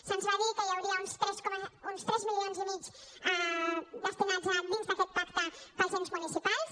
se’ns va dir que hi hauria uns tres milions i mig destinats dins d’aquest pacte per als ens municipals